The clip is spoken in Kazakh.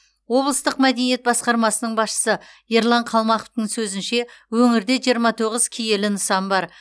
облыстық мәдениет басқармасының басшысы ерлан қалмақовтың сөзінше өңірде жиырма тоғыз киелі нысан бар